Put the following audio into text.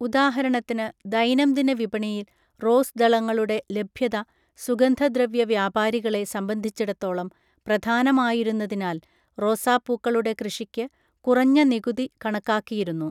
ഉദാഹരണത്തിന്, ദൈനംദിന വിപണിയിൽ റോസ് ദളങ്ങളുടെ ലഭ്യത സുഗന്ധദ്രവ്യ വ്യാപാരികളെ സംബന്ധിച്ചിടത്തോളം പ്രധാനമായിരുന്നതിനാൽ റോസാപ്പൂക്കളുടെ കൃഷിക്ക് കുറഞ്ഞ നികുതി കണക്കാക്കിയിരുന്നു.